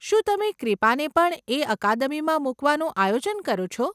શું તમે ક્રીપાને પણ એ અકાદમીમાં મુકવાનું આયોજન કરો છો?